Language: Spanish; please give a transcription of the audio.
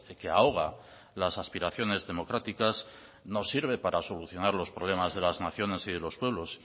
que ahoga las aspiraciones democráticas no sirve para solucionar los problemas de las naciones y de los pueblos